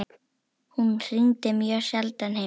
Hún hringdi mjög sjaldan heim.